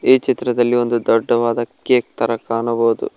ಈ ಚಿತ್ರದಲ್ಲಿ ಒಂದು ದೊಡ್ಡವಾದ ಕೇಕ್ ತರ ಕಾಣಬಹುದು.